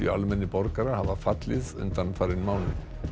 almennir borgarar hafa fallið undanfarinn mánuð